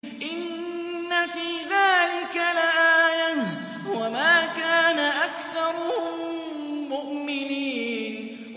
إِنَّ فِي ذَٰلِكَ لَآيَةً ۖ وَمَا كَانَ أَكْثَرُهُم مُّؤْمِنِينَ